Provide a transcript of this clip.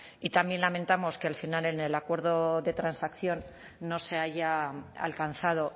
y también lamentamos que al final en el acuerdo de transacción no se haya alcanzado